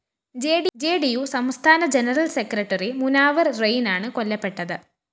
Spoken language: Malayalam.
ജെഡിയു സംസ്ഥാന ജനറൽ സെക്രട്ടറി മുനാവര്‍ റെയിനാണ് കൊല്ലപ്പെട്ടത്